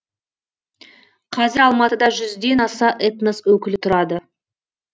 қазір алматыда жүзден аса этнос өкілі тұрады